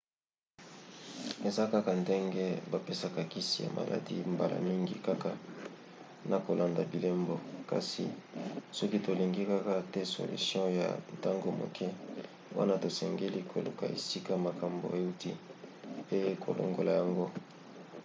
eza kaka ndenge bapesaka kisi ya maladi mbala mingi kaka na kolanda bilembo. kasi soki tolingi kaka te solution ya ntango moke wana tosengeli koluka esika makambo euti pe kolongola yango